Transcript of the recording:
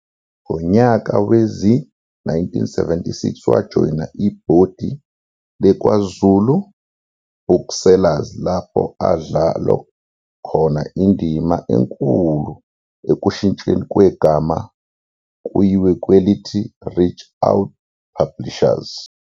Ngonyaka wezi-1976 wajoyina ibhodi le-KwaZulu Booksellers lapho adlalo khona indima enkulu ekushintshweni kwegama kuyiwe kwelithi-"Reach Out Publishers".